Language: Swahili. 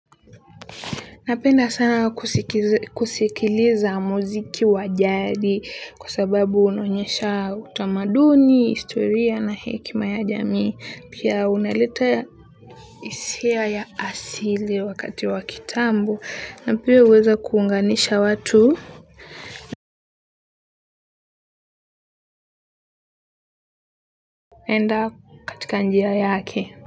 Napenda sana kusikiliza muziki wa jadi kwa sababu unaonyesha utamaduni historia na hekima ya jamii pia unaleta hisia ya asili wakati wakati wa kitambo na pia huweza kuunganisha watu. Enda katika njia yake.